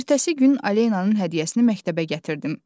Ertəsi gün Aleyananın hədiyyəsini məktəbə gətirdim.